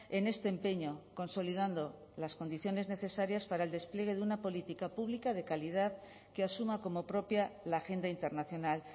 en este empeño consolidando las condiciones necesarias para el despliegue de una política pública de calidad que asuma como propia la agenda internacional